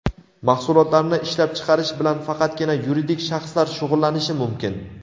Mahsulotlarni ishlab chiqarish bilan faqatgina yuridik shaxslar shug‘ullanishi mumkin.